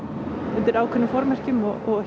undir ákveðnum formerkjum og